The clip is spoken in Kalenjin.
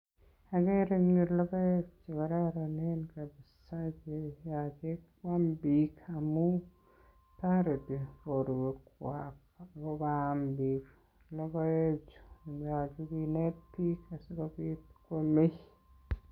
Agere en logoek che kororon kabisa ago yoche kwam biik amun toreti borwekwak. yoche kinet biik asikobit koome.